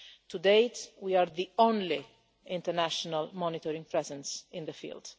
To date, we are the only international monitoring presence in the field.